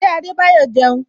Ṣé Adebayo jẹun?